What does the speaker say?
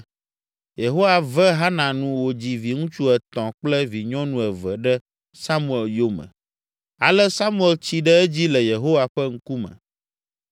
Yehowa ve Hana nu wòdzi viŋutsu etɔ̃ kple vinyɔnu eve ɖe Samuel yome. Ale Samuel tsi ɖe edzi le Yehowa ƒe ŋkume.